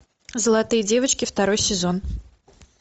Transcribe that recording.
золотые девочки второй сезон